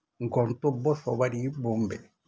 গন্তব্য সবারই বোম্বে